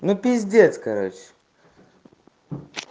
ну пиздец короче